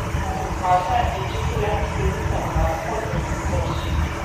Kot kaže, je čutil le posledice udarca v prsni koš.